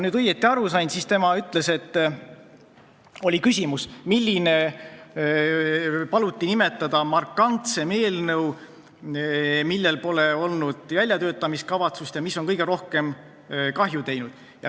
Tal paluti nimetada kõige markantsem eelnõu, millel pole olnud väljatöötamiskavatsust ja mis on kõige rohkem kahju teinud.